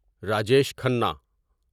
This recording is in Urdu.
راجیش کھنہ